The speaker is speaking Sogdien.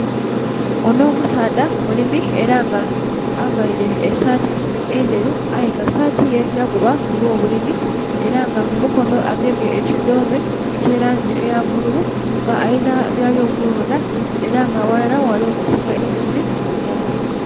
Onho omusaadha mulimi ela nga availe esaati endheru aye nga saati ye yaguba ku lwo bulimi, ela nga mu mukono agemye ekidhoome eky'elangi eya bbululu nga alina byali okulonda era nga aghalala ghali okusika eisubi mu itaka.